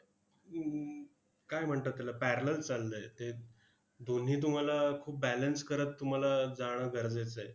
काय म्हणतात त्याला, parallel चाललंय ते. दोन्ही तुम्हाला खूप balance करत तुम्हाला जाणं गरजेचं आहे.